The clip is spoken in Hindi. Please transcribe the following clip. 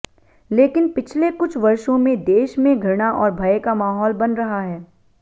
लेकिन पिछले कुछ वर्षों में देश में घृणा और भय का माहौल बन रहा है